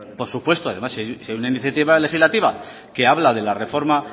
por supuesto si hay una iniciativa legislativa se habla de la reforma